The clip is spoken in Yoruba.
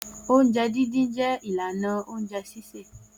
Oúnjẹ dídín jẹ́ ìlànà oúnjẹ sísè.